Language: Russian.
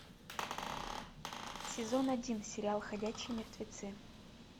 сезон один сериал ходячие мертвецы